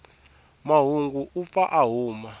mahungu u pfa a huma